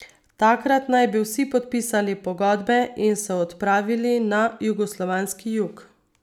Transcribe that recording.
Takrat naj bi vsi podpisali pogodbe in se odpravili na jugoslovanski jug.